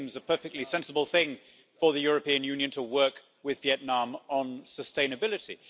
It seems a perfectly sensible thing for the European Union to work with Vietnam on sustainability.